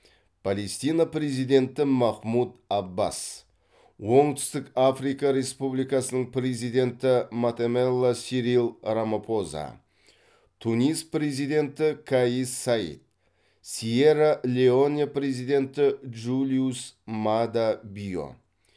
палестина президенті махмуд аббас оңтүстік африка республикасының президенті матамела сирил рамапоза тунис президенті каис саид сьерра леоне президенті джулиус маада био